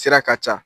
Sira ka ca